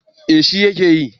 Eh shi ya ke yi